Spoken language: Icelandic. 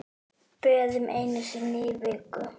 Böðun einu sinni í viku!